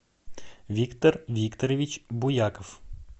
виктор викторович буяков